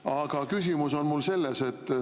Aga küsimus on mul selles.